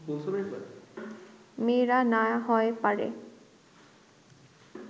মেয়েরা না হয় পারে